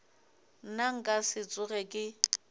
nna nka se tsoge ke